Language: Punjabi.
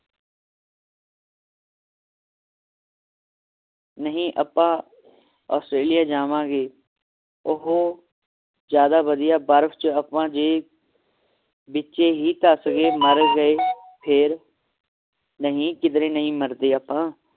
ਨਹੀਂ ਆਪਾਂ australia ਜਾਵੋਂਗੇ ਓਥੇ ਜਾਂਦਾ ਵਧੀਆ ਬਰਫ ਚ ਆਪਾਂ ਜੇ ਵਿਚੇ ਹੀ ਧੱਸ ਗਏ ਮੱਰ ਗਏ ਫੇਰ ਨਹੀਂ ਕਿਧਰੇ ਨਹੀਂ ਮਰਦੇ ਆਪਾਂ